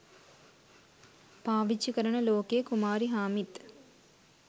පාවිච්චි කරන ලොකේ කුමාරිහාමිත්